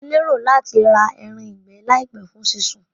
Mo lérò láti ra eran ìgbẹ́ làìpé fún sí sun